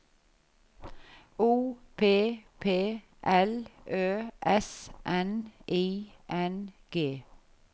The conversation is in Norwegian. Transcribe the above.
O P P L Ø S N I N G